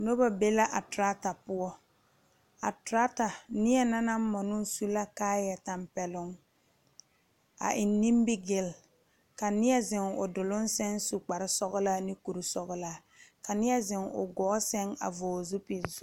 Noba be la a trata poɔ, a trata niena naŋ moɔnoo su la kaaya tanpɛloŋ a e nimigele ka nie zeŋ o duluŋ saŋ su kpare sɔglaa ne kuri sɔglaa ka nie zeŋ o gɔɔ saŋ a vɔgle zupele sɔ.